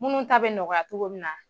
Munnu ta bɛ nɔgɔya togo min na.